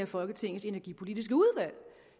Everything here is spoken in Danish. folketingets energipolitiske udvalg